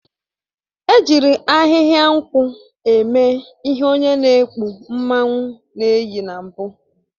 E jiri ahịhịa nkwụ eme ihe onye n'ekpu mmanwụ na-eyi na mbụ